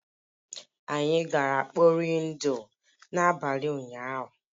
Anyị gara mkpọri ndụ n'abalị ụnyahụ